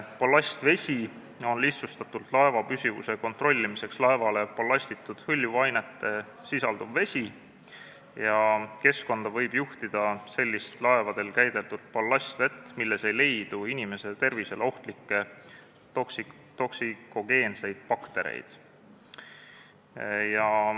Ballastvesi on lihtsustatult öeldes laeva püstuvuse kontrollimiseks laevale ballastitud, hõljuvainet sisaldav vesi ja keskkonda võib juhtida sellist laevadel käideldud ballastvett, milles ei leidu inimese tervisele ohtlikke toksikogeenseid baktereid.